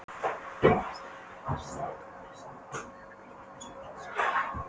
Stelpurnar sléttuðu úr pilsunum og toguðu upp hvítu sportsokkana.